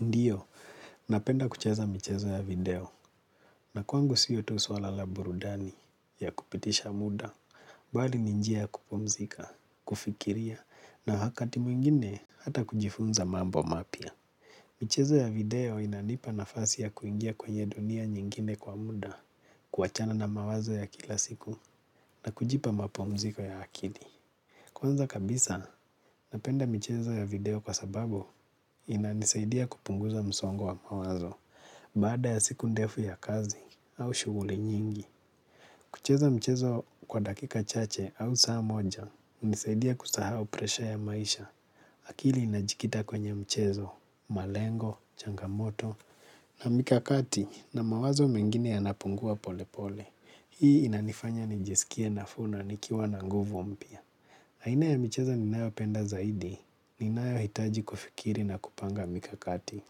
Ndiyo, napenda kucheza michezo ya video na kwangu sio tu suala la burudani ya kupitisha muda bali ni njia ya kupumzika, kufikiria na wakati mwingine hata kujifunza mambo mapya. Michezo ya video inanipa nafasi ya kuingia kwenye dunia nyingine kwa muda kuachana na mawazo ya kila siku na kujipa mapumziko ya akili. Kwanza kabisa, napenda michezo ya video kwa sababu inanisaidia kupunguza msongo wa mawazo. Baada ya siku ndefu ya kazi au shuguli nyingi kucheza mchezo kwa dakika chache au saa moja hunisaidia kusahau presha ya maisha. Akili inajikita kwenye mchezo, malengo, changamoto. Na mikakati na mawazo mengine yanapungua pole pole. Hii inanifanya nijisikie nafuu na nikiwa na nguvu mpya aina ya michezo ninayopenda zaidi ninayohitaji kufikiri na kupanga mikakati.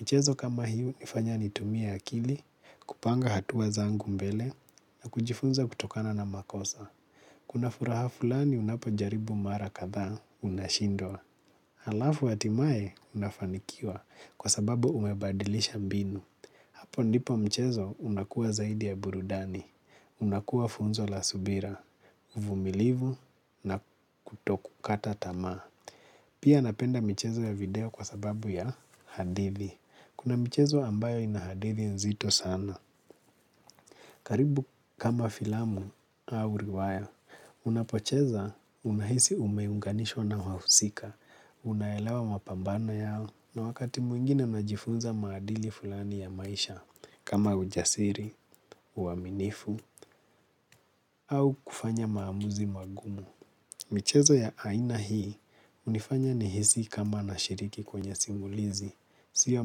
Michezo kama hiyo hunifanya nitumie akili, kupanga hatua zangu mbele na kujifunza kutokana na makosa. Kuna furaha fulani unapojaribu mara kadhaa unashindwa. Halafu hatimae unafanikiwa kwa sababu umebadilisha mbinu. Apo ndipo mchezo unakuwa zaidi ya burudani, unakuwa funzo la subira, uvumilivu na kutokukata tamaa. Pia napenda michezo ya video kwa sababu ya hadithi. Kuna michezo ambayo ina hadithi nzito sana. Karibu kama filamu au riwaya. Unapocheza unahisi umeunganishwa na wahusika. Unaelewa mapambano yao. Na wakati mwingine unajifunza maadili fulani ya maisha kama ujasiri, uaminifu au kufanya maamuzi magumu. Michezo ya aina hii hunifanya nihisi kama nashiriki kwenye simulizi. Si ya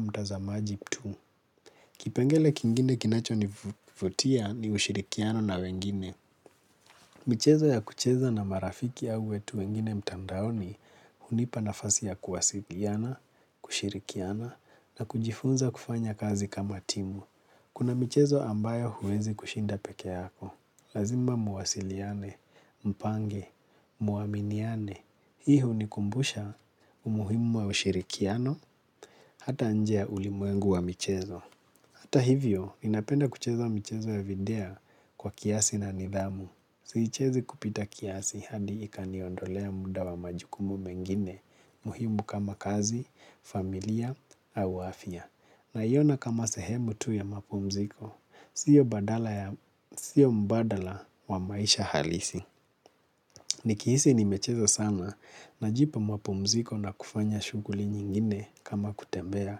mtazamaji tu. Kipengele kingine kinachonivutia ni ushirikiano na wengine. Michezo ya kucheza na marafiki au watu wengine mtandaoni hunipa nafasi ya kuwasiliana, kushirikiana na kujifunza kufanya kazi kama timu. Kuna michezo ambayo huwezi kushinda peke yako. Lazima muwasiliane, mpange, muaminiane. Hii hunikumbusha umuhimu wa ushirikiano hata nje ya ulimwengu wa michezo. Hata hivyo, ninapenda kucheza michezo ya vindea kwa kiasi na nidhamu. Siichezi kupita kiasi hadi ikaniondolea muda wa majukumu mengine muhimu kama kazi, familia, au afya. Naiona kama sehemu tu ya mapumziko, sio mbadala wa maisha halisi. Nikihisi nimecheza sana najipa mapumziko na kufanya shuguli nyingine kama kutembea,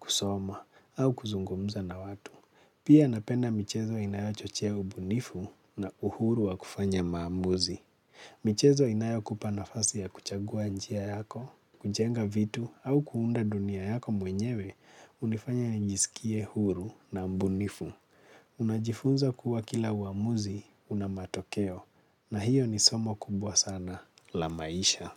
kusoma au kuzungumza na watu. Pia napenda michezo inayochochea ubunifu na uhuru wa kufanya maamuzi. Michezo inayokupa nafasi ya kuchagua njia yako, kujenga vitu au kuunda dunia yako mwenyewe, hunifanya nijisikie huru na mbunifu. Unajifunza kuwa kila uamuzi una matokeo na hiyo ni somo kubwa sana la maisha.